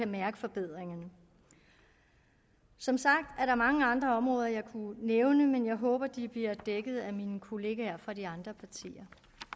mærke forbedringerne som sagt er der mange andre områder jeg kunne nævne men jeg håber at de bliver dækket af mine kollegaer fra de andre partier